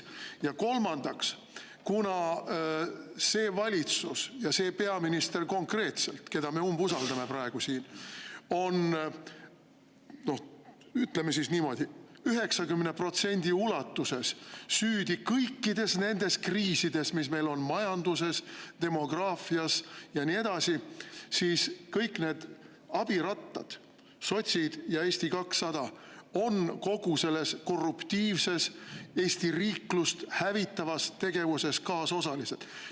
Ja kolmandaks, kuna valitsus ja konkreetselt see peaminister, keda me umbusaldame praegu siin, on – ütleme siis niimoodi – 90% ulatuses süüdi kõikides nendes kriisides, mis meil on majanduses, demograafias ja nii edasi, siis kõik need abirattad, sotsid ja Eesti 200, on kogu selles korruptiivses, Eesti riiklust hävitavas tegevuses kaasosalised.